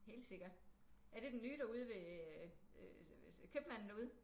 Helt sikkert. Er det den nye derude ved øh købmanden derude?